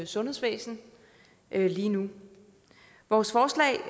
sundhedsvæsenet lige nu vores forslag